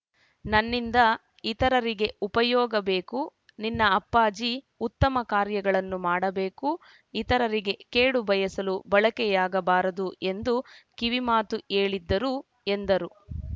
ನನ್ನಿಂದ ಇತರರಿಗೆ ಉಪಯೋಗಬೇಕು ನಿನ್ನ ಅಪ್ಪಾಜಿ ಉತ್ತಮ ಕಾರ್ಯಗಳನ್ನು ಮಾಡಬೇಕು ಇತರರಿಗೆ ಕೇಡು ಬಯಸಲು ಬಳಕೆಯಾಗಬಾರದು ಎಂದು ಕಿವಿಮಾತು ಹೇಳಿದ್ದರು ಎಂದರು